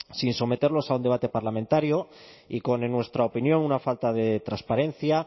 sin someterlos a un debate parlamentario y con en nuestra opinión una falta de transparencia